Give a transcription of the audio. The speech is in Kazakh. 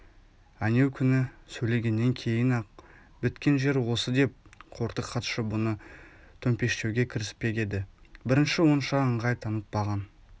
әнеукүні сөйлегеннен кейін-ақ біткен жер осы деп қортық хатшы бұны төмпештеуге кіріспек еді бірінші онша ыңғай танытпаған